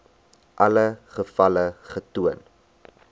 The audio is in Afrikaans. alle gevalle getoon